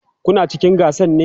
Kuna cikin gasan ne?